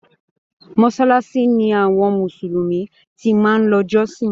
Mosalasi ni àwọn mùsùlùmí ti máa ń lọ jọsin.